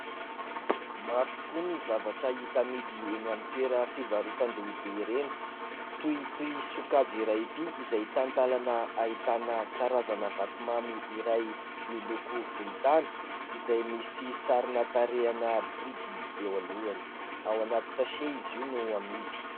Maro tokoa ny zavatra hita amidy eny amin'ny toera fivarotan-dehibe ireny. Toy toy sokajy iray ity izay talantalana ahitana karazana vatomamy iray, miloko volontany izay misy sarina tarehana biby eo alohany ao anaty "sachet" izy io no amidy.